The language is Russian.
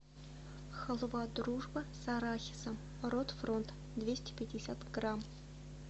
халва дружба с арахисом рот фронт двести пятьдесят грамм